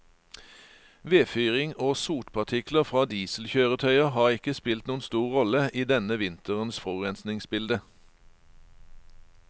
Vedfyring og sotpartikler fra dieselkjøretøyer har ikke spilt noen stor rolle i denne vinterens forurensningsbilde.